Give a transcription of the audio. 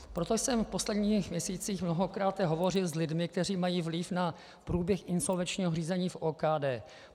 Proto jsem v posledních měsících mnohokráte hovořil s lidmi, kteří mají vliv na průběh insolvenčního řízení v OKD.